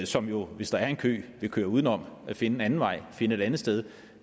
som jo hvis der er en kø vil køre udenom og finde en anden vej finde et andet sted